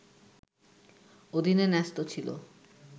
অধীনে ন্যস্ত ছিল